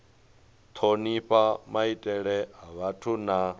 thonifha maitele a vhathu na